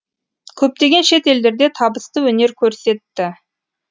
көптеген шет елдерде табысты өнер көрсетті